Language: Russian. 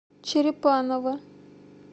черепаново